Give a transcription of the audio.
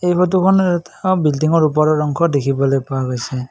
এই ফটোখন এটা বিল্ডিংৰ ওপৰৰ অংশ দেখিবলৈ পোৱা গৈছে।